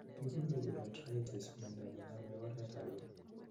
kikure urethritis myanta nename oret ab beek